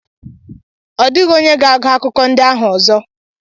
Ọ dịghị onye ga-agụ akụkọ ndị ahụ ọzọ.